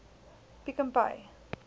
pick and pay